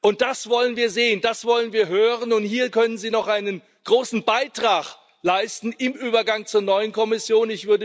Und das wollen wir sehen, das wollen wir hören, und hier können Sie noch einen großen Beitrag leisten im Übergang zur neuen Kommission.